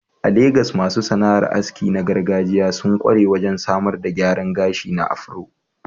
A Legas, masu sana'ar aski na gargajiya sun ƙware wajen samar da gyaran gashi na afro.